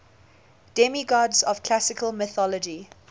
demigods of classical mythology